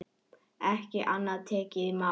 Ekki annað tekið í mál.